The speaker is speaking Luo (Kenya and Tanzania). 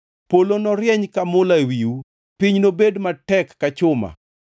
Polo norieny ka mula ewiu, piny to nobed matek ka chuma.